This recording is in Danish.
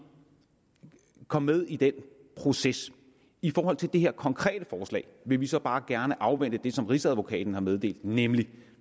kom med i den proces i forhold til det her konkrete forslag vil vi så bare gerne afvente det som rigsadvokaten har meddelt nemlig at